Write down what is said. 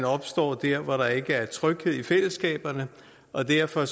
opstår der hvor der ikke er tryghed i fællesskabet og derfor